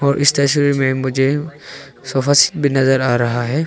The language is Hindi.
और इस तस्वीर में मुझे सोफा भी नजर आ रहा है।